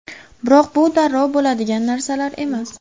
Biroq bu darrov bo‘ladigan narsalar emas.